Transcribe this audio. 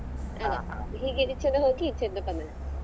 ಹೀಗೆ ಈಚೆ ಇಂದ ಹೋಗಿ ಈಚೆ ಇಂದ ಬಂದದ್ದು.